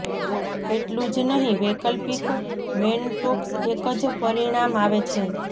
એટલું જ નહીં વૈકલ્પિક મેનટોક્સ એક જ પરિણામ આવે છે